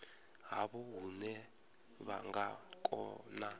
havho hune vha nga kona